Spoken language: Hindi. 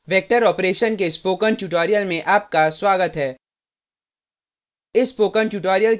वेक्टर ऑपरेशन के स्पोकन ट्यूटोरियल में आपका स्वागत है